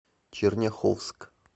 черняховск